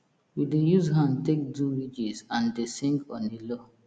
we dey use hand take do ridges and dey sing on a low